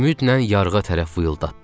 Ümidlə yarığa tərəf vıyıldatdım.